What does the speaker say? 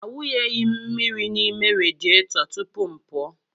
Awụnyeghị m mmiri n'ime radịeto tupu m pụọ.